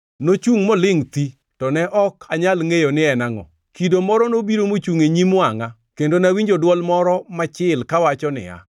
Nochungʼ molingʼ thi, to ne ok anyal ngʼeyo ni en angʼo. Kido moro nobiro mochungʼ e nyim wangʼa, kendo nawinjo dwol moro machil, kawacho niya: